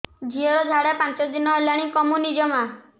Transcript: ଝିଅର ଝାଡା ପାଞ୍ଚ ଦିନ ହେଲାଣି କମୁନି ଜମା